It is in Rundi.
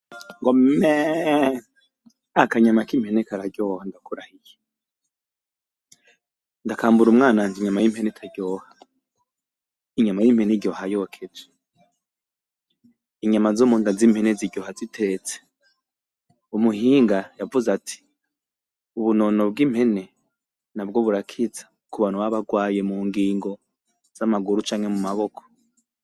Meeeeeeee akanyama k'impene kararyoha ndakurahiye. Ndakambura umwananje, inyama y'impene itaryoha! Inyama y'impene iryoha yokeje. Inyama zo mu nda z'impene ziryoha zitetse. Umuhinga yavuze ati:" ubunono bw'impene nabwo burakiza ku bantu baba barwaye mu ngingo z'amaguru canke mu maboko" .